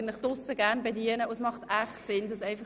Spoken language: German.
Es macht wirklich Sinn, diesen Ausweis auf sich zu tragen.